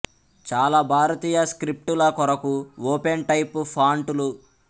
చాలా భారతీయ స్క్రిప్ట్ ల కొరకు ఓపెన్ టైప్ ఫాంట్ లు